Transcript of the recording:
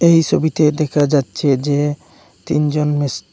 এই ছবিতে দেখা যাচ্ছে যে তিনজন মিস--